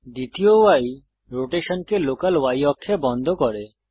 দ্বিতীয় ই রোটেশনকে লোকাল Y অক্ষে বন্ধ করে